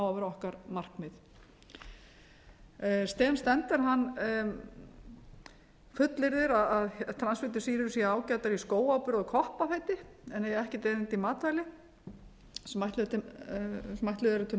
vera okkar markmið sem stender fullyrðir að transfitusýrur séu ágætar í skóáburð og koppafeiti en eigi ekkert erindi í matvæli sem ætluð eru til